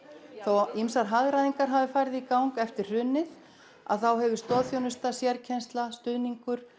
þó að ýmsar hagræðingar hafi farið í gang eftir hrunið þá hefur stoðþjónusta sérkennsla stuðningur